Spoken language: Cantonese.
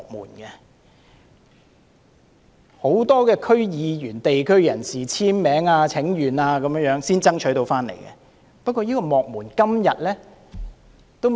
這是很多區議員、地區人士簽名請願下才爭取到的結果。